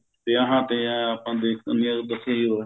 ਵਿਆਹਾਂ ਤੇ ਏਂ ਆਪਾਂ